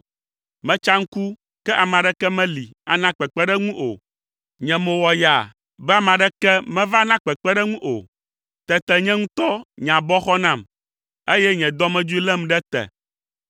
Metsa ŋku, ke ame aɖeke meli ana kpekpeɖeŋu o. Nye mo wɔ yaa be ame aɖeke meva na kpekpeɖeŋu o. Tete nye ŋutɔ nye abɔ xɔ nam, eye nye dɔmedzoe lém ɖe te.